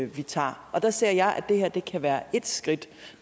vi tager der ser jeg at det her kan være et skridt